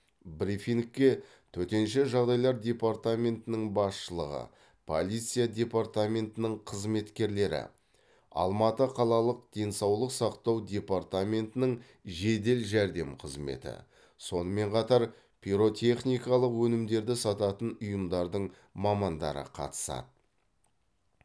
брифингке төтенше жағдайлар департаментінің басшылығы полиция департаментінің қызметкерлері алматы қалалық денсаулық сақтау департаментінің жедел жәрдем қызметі сонымен қатар пиротехникалық өнімдерді сататын ұйымдардың мамандары қатысады